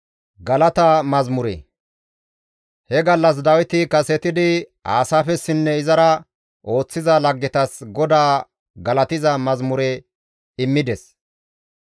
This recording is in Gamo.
He gallas Dawiti kasetidi Aasaafessinne izara ooththiza laggetas GODAA galatiza mazamure immides.